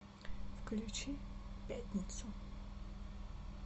включи пятницу